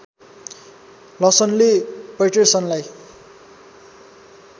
लसनले पैटरसनलाई